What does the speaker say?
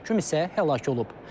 Bir məhkum isə həlak olub.